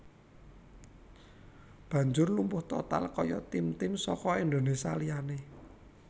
banjur lumpuh total kaya tim tim saka Indonésia liyane